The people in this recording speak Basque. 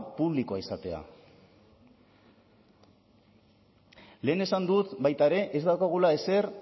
publikoa izatea lehen esan dut baita ere ez daukagula ezer